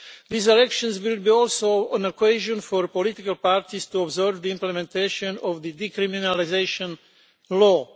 These elections will be also an occasion for political parties to observe the implementation of the decriminalisation law.